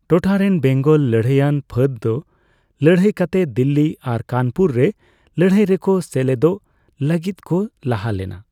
ᱴᱚᱴᱷᱟᱨᱮᱱ ᱵᱮᱝᱜᱚᱞ ᱞᱟᱹᱲᱦᱟᱹᱭᱟᱱ ᱯᱷᱟᱹᱫᱽ ᱫᱚ ᱞᱟᱹᱲᱦᱟᱹᱭ ᱠᱟᱛᱮ ᱫᱤᱞᱞᱤ ᱟᱨ ᱠᱟᱱᱯᱩᱨ ᱨᱮ ᱞᱟᱹᱲᱦᱟᱹᱭ ᱨᱮᱠᱚ ᱥᱮᱞᱮᱫᱚᱜ ᱞᱟᱹᱜᱤᱫᱠᱚ ᱞᱟᱦᱟ ᱞᱮᱱᱟ ᱾